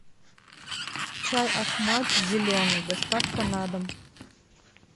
чай ахмад зеленый доставка на дом